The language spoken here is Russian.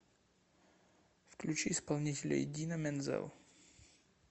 включи исполнителя идина мензел